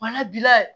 Bana bila